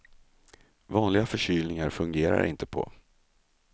Vanliga förkylningar fungerar de inte på.